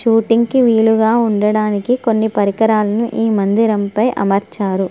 Shooting వీళ్ళుగా ఉండడానికి కొన్ని పరికరాలను ఈ మందిరముపై అమర్చారు .